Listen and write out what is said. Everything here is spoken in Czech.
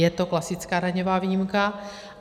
Je to klasická daňová výjimka.